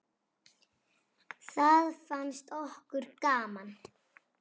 Það fannst okkur gaman.